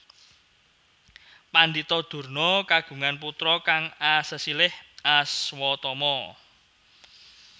Pandhita Durna kagungan putra kang asesilih Aswatama